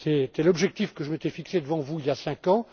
C'était l'objectif que je m'étais fixé devant vous il y a cinq ans.